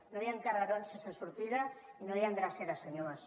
no hi han carrerons sense sortida i no hi han dreceres senyor mas